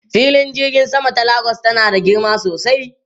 Filin jirgin sama ta Lagos tana da girma sosai.